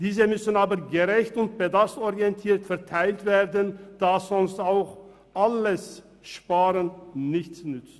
Diese müssen aber gerecht und bedarfsorientiert verteilt werden, da sonst auch alles Sparen nichts nützt.